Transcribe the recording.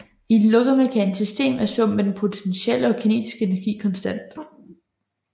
I et lukket mekanisk system er summen af den potentielle og kinetiske energi konstant